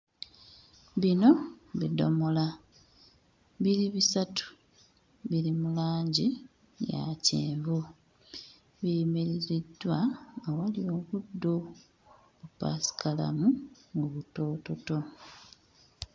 Bino bidomola biri bisatu biri mu langi ya kyenvu biyimiriziddwa awali obuddo bupaasikalamu obutoototo.